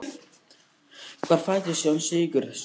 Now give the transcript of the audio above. Hvar fæddist Jón Sigurðsson?